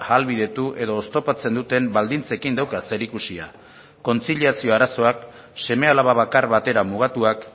ahalbidetu edo oztopatzen duten baldintzekin dauka zerikusia kontziliazio arazoak seme alaba bakar batera mugatuak